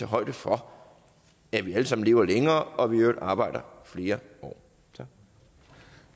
højde for at vi alle sammen lever længere og at vi i øvrigt arbejder flere år